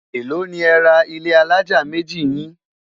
èlò ní é rà ilé alájá méjì yin?